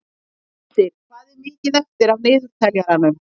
Hildir, hvað er mikið eftir af niðurteljaranum?